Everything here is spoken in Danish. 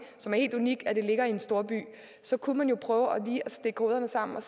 som er helt unik ved at det ligger i en storby så kunne man jo prøve lige at stikke hovederne sammen og